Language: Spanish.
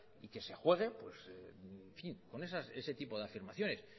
y que se juegue con ese tipo de afirmaciones